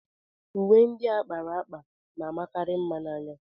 Uwe ndị a kpara akpa na-amakarị mma n'anya.